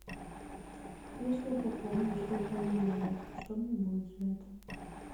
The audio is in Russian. если я пополню телефон друга что мне будет за это